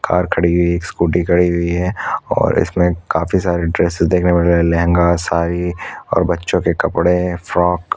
car खड़ी हुई है स्कूटी खड़ी हुई है और इसमें काफी सारी ड्रेस देखने के लिए मिल रहा है लहंगा साड़ी और बच्चों के कपड़े हैं फ्रॉक --